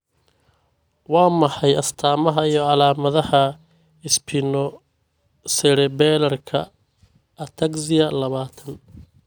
Waa maxay astamaha iyo calaamadaha Spinocerebellarka ataxia labatan?